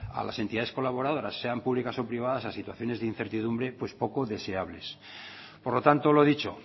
a las entidades colaboradoras sean públicas o privadas a situaciones de incertidumbre pues poco deseables por lo tanto lo dicho